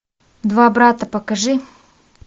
два брата покажи